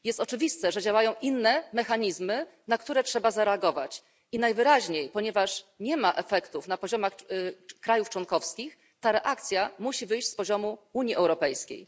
Jest oczywiste, że działają tu inne mechanizmy, na które trzeba zareagować, i najwyraźniej, ponieważ nie ma efektów na poziomie państw członkowskich, ta reakcja musi wyjść z poziomu Unii Europejskiej.